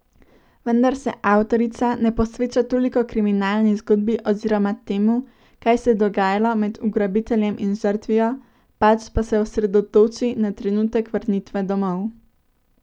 Vendar se avtorica ne posveča toliko kriminalni zgodbi oziroma temu, kaj se je dogajalo med ugrabiteljem in žrtvijo, pač pa se osredotoči na trenutek vrnitve domov.